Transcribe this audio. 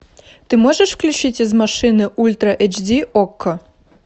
ты можешь включить из машины ультра эйч ди окко